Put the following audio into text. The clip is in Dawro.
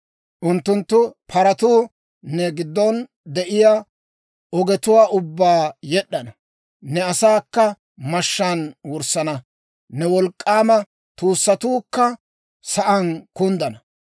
Unttunttu paratuu ne giddon de'iyaa ogetuwaa ubbaa yed'd'ana. Ne asaakka mashshaan wurssana; ne wolk'k'aama tuussatuukka sa'aan kunddana.